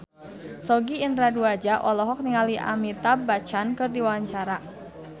Sogi Indra Duaja olohok ningali Amitabh Bachchan keur diwawancara